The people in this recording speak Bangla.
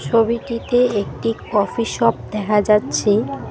ছবিটিতে একটি কফি শপ দেখা যাচ্ছে।